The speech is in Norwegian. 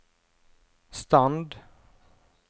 stand